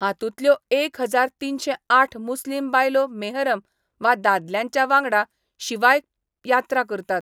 हांतूतल्यो एक हजार तिनशे आठ मुस्लिम बायलो मेहरम वा दादल्यांच्या वांगडा शिवाय यात्रा करतात.